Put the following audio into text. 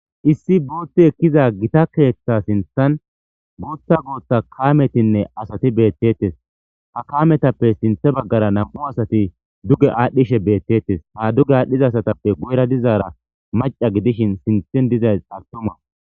issi bootti ekkiza gita keeththa sinthan guuta gutta kaametinne asati beettettes ha kaametappe sinthe baggara nam'u asati duge aadhdhishe beettettes ha dugge aadhdhiza asatappe guyra dizaara maca gidishin sinthen dizay altuma